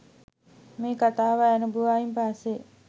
මේ කතාව නැරඹුවායින් පස්සෙ